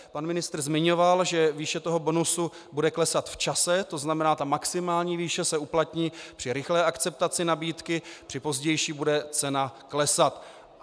Pan ministr zmiňoval, že výše toho bonusu bude klesat v čase, to znamená ta maximální výše se uplatní při rychlé akceptaci nabídky, při pozdější bude cena klesat.